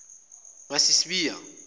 masisbiya